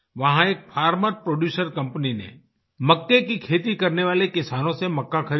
वहां एक farmer producer company ने मक्के की खेती करने वाले किसानों से मक्का ख़रीदा